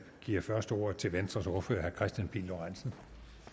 giver først ordet til venstres ordfører herre kristian pihl lorentzen